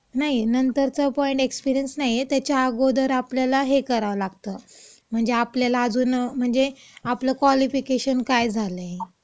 नाही, नंतरचा point experience नाहीय, म्हणजे आपल्याला त्याच्या अगोदर हे करावं लागतं. म्हणजे आपल्याला अजून म्हणजे आपलं क्वालिफिकेशन काय झालंय,